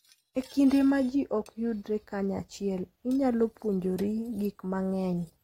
E kinde ma ji ok yudre kanyachiel, inyalo puonjori gik mang'eny.